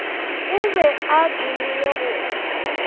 o be a dumile go